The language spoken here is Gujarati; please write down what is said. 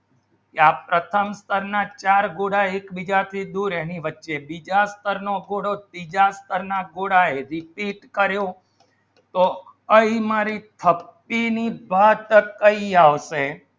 આ પ્રથમ સ્થર ના ચાર કોડા એક બીજાથી દૂર એની વચ્ચે બીજા સ્થળનો કોડો બીજા કોડા હાય રીતિ કહ્યું તો એ મારી thirteen બે ટક્કા આવશે